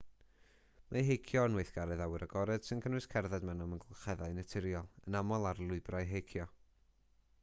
mae heicio yn weithgaredd awyr agored sy'n cynnwys cerdded mewn amgylcheddau naturiol yn aml ar lwybrau heicio